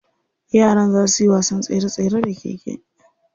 Yaran za suyi wasan tsere tsere da keke.